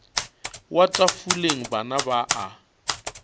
wa tafoleng bana ba a